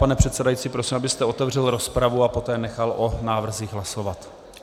Pane předsedající, prosím, abyste otevřel rozpravu a poté nechal o návrzích hlasovat.